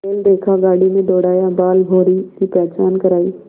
बैल देखा गाड़ी में दौड़ाया बालभौंरी की पहचान करायी